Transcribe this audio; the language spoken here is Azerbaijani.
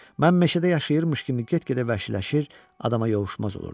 Mən meşədə yaşayırmış kimi get-gedə vəhşiləşir, adama yovuşmaz olurdum.